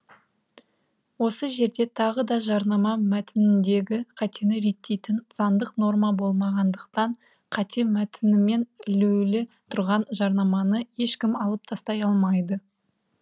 осы жерде тағы да жарнама мәтініндегі қатені реттейтін заңдық норма болмағандықтан қате мәтінмен ілулі тұрған жарнаманы ешкім алып тастай алмайды